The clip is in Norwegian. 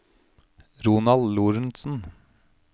Ronald Lorentsen